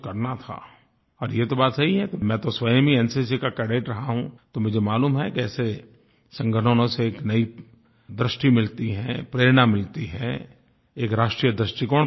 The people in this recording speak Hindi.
और ये तो बात सही है कि मैं तो स्वयं ही एनसीसी का कैडेट रहा हूँ तो मुझे मालूम है कि ऐसे संगठनों से एक नई दृष्टि मिलती है प्रेरणा मिलती है एक राष्ट्रीय दृष्टिकोण पनपता है